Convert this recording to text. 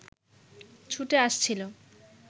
ছুটে আসছিল